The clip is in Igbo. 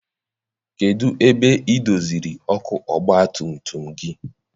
Kedụ ebe I doziri ọkụ ọgbatumtum gị?